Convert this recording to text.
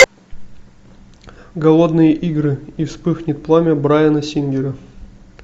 голодные игры и вспыхнет пламя брайана сингера